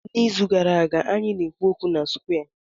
N'izu gara aga, anyị na-ekwu okwu na square.